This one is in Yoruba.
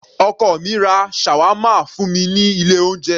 Ọkọ mi ra Shawarma fún mi ní ilé oúnjẹ.